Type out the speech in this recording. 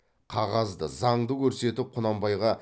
қағазды заңды көрсетіп құнанбайға